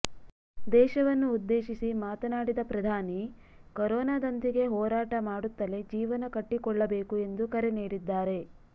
ದೇಶವನ್ನು ಉದ್ದೇಶಿಸಿ ಮಾತನಾಡಿದ ಪ್ರಧಾನಿ ಕೊರೋನಾದೊಂದಿಗೆ ಹೋರಾಟ ಮಾಡುತ್ತಲೇ ಜೀವನ ಕಟ್ಟಿಕೊಳ್ಳಬೇಕು ಎಂದು ಕರೆ ನೀಡಿದ್ದಾರೆ